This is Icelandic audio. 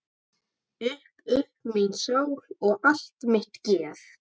Upp upp mín sál og allt mitt geð!